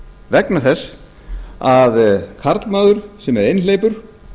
vegna þess að karlmaður sem er einhleypur